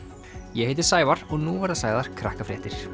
ég heiti Sævar og nú verða sagðar